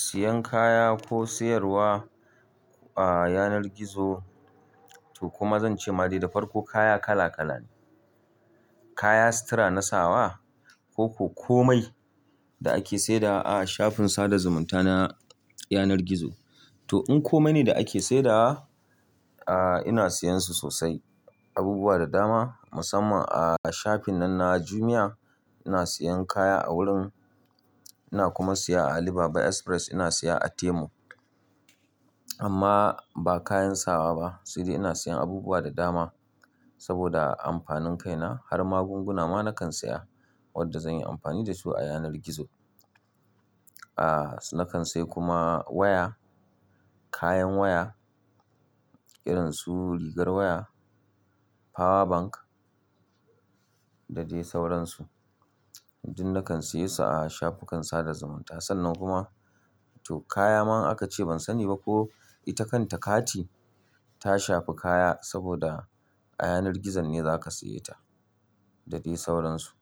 Siyan kaya ko siyarwa a yanar gizo to kuma zan ce ma dai da farko kaya kala kala ne. Kaya, sutura, nasawa ko komai da ake saidawa a shafin sada zumunta na yanar gizo. To in komai ne da ake saidawa, a ina siyan su sosai, abubuwa da dama musamman a shafin nan na Jumia ina siyan kaya a wurin. Ina kuma siya a Alibaba Express, ina siya a Temu. Amma ba kayan sawa ba sai dai ina siyan abubuwa da dama saboda amfanin kaina har magunguna ma nakan siya wadda zan yi amfani da su a yanar gizo. A nakan sai kuma waya, kayan waya irin su rigar waya, power bank da dai sauransu. Duk nakan siyesu a shafukan sada zumunta sannan kuma to kaya man aka ce ban sani ba ko ita kanta kati ta shafi kaya saboda a yanar gizo ne za ka siya ta da dai sauransu.